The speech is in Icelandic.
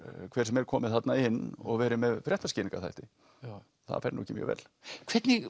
hver sem er komið þarna inn og verið með fréttaskýringarþætti það fer nú ekki mjög vel hvernig